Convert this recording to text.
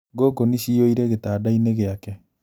Ngũngũni ciyũire gĩtanda-inĩ gĩake